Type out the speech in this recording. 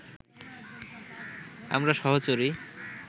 আমরা সহচরী